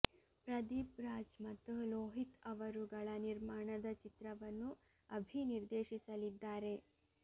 ಪ್ರದೀಪ್ ರಾಜ್ ಮತ್ತು ಲೋಹಿತ್ ಅವರುಗಳ ನಿರ್ಮಾಣದ ಚಿತ್ರವನ್ನು ಅಭಿ ನಿರ್ದೇಶಿಸಲಿದ್ದಾರೆ